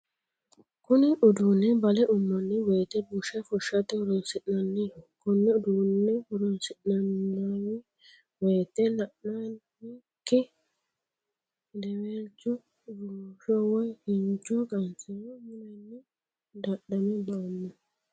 Kunni uduunni bale ummanni woyite busha fushate horoonsi'nanniho Kone uduunne horoonsi'nanni woyite la'nikinni hedewelcho rumusho woyi kincho qansiro mulenni dadhame ba'ano.